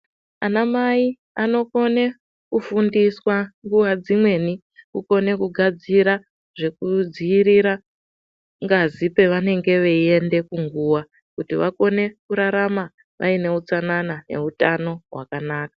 Anamai anokone kufundiswa nguwa dzimweni kukone kugadzira zvekudziirira ngazi pevanenge veiende kunguwa kuti vakone kurarama vaine utsanana neutano hwakanaka.